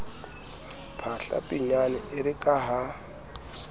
phahla pinyane ere ka ha